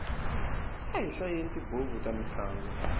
a hi hlayeni tibuku ta mintlangu